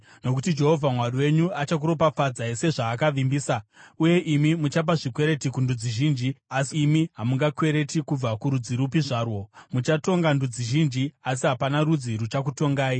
Nokuti Jehovha Mwari wenyu achakuropafadzai sezvaakavimbisa, uye imi muchapa zvikwereti kundudzi zhinji asi imi hamungakwereti kubva kurudzi rupi zvarwo. Muchatonga ndudzi zhinji asi hapana rudzi ruchakutongai.